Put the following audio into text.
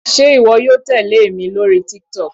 Sé ìwọ yóò tèlé èmi lórí TikTok.